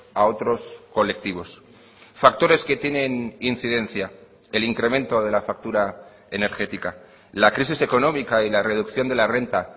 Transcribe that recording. a otros colectivos factores que tienen incidencia el incremento de la factura energética la crisis económica y la reducción de la renta